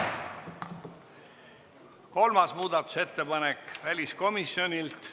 Kolmas muudatusettepanek on väliskomisjonilt.